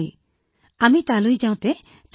তামিলনাডুত দক্ষিণ ভাৰতীয় ৰন্ধন প্ৰণালী প্ৰচলিত